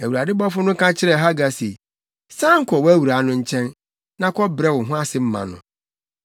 Na Awurade bɔfo no ka kyerɛɛ Hagar se, “San kɔ wʼawuraa no nkyɛn, na kɔbrɛ wo ho ase ma no.”